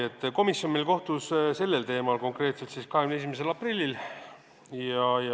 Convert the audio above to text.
Komisjon kohtus sellel teemal 21. aprillil.